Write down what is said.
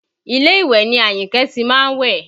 Ilé ìwẹ̀ ni Àyìnkẹ́ ti má ń wẹ̀